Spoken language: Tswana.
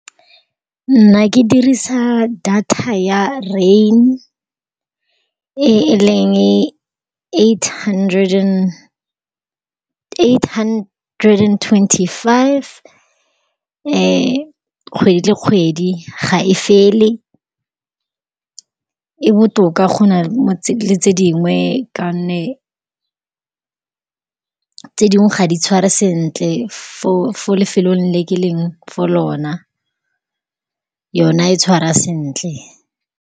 Nna ke dirisa data ya rain-e, e e leng eight hundred and-e, eight hundred and-e twenty-five kgwedi le kgwedi. Ga e fele, e botoka go na le tse, le tse dingwe, ka gonne tse dingwe ga di tshware sentle fo-fo lefelong le ke leng fo lona, yona e tshwara sentle.